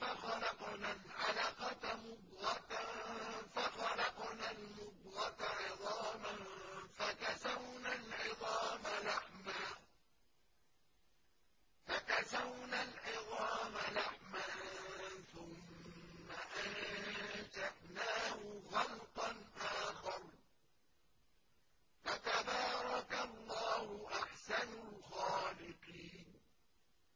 فَخَلَقْنَا الْعَلَقَةَ مُضْغَةً فَخَلَقْنَا الْمُضْغَةَ عِظَامًا فَكَسَوْنَا الْعِظَامَ لَحْمًا ثُمَّ أَنشَأْنَاهُ خَلْقًا آخَرَ ۚ فَتَبَارَكَ اللَّهُ أَحْسَنُ الْخَالِقِينَ